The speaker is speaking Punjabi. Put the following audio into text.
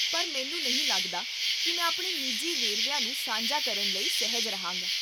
ਪਰ ਮੈਨੂੰ ਨਹੀਂ ਲੱਗਦਾ ਕੀ ਮੈਂ ਆਪਣੇ ਨਿੱਜੀ ਵੇਰਵਿਆਂ ਨੂੰ ਸਾਂਝਾ ਕਰਨ ਵਿੱਚ ਸਹਿਜ ਰਹਾਂਗਾ